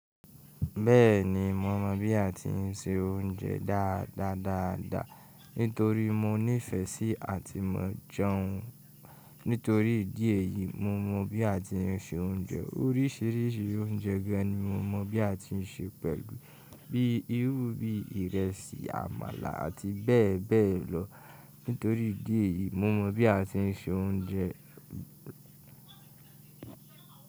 Bẹ́ẹ̀ni, mo mọ̀ bí a ti ń se oúnjẹ dáadáa dáadáa nítorí mo ní ìfẹ́ sí àti maa jeun nítorí ìdí èyíi mo mọ̀ bí a ti ń se oúnjẹ orísìírísìí oúnjẹ dẹni mo mọ̀ bí a ti ń se pẹ̀lú bíi irú bíi ìrẹsì, àmàlà àti bẹ́ẹ̀ bẹ́ẹ̀ lọ nítorí ìdí èyíi mo mọ̀ bí a ti ń se oúnjẹ.